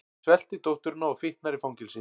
Svelti dótturina og fitnar í fangelsi